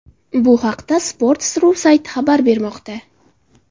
Bu haqda Sports.ru sayti xabar bermoqda.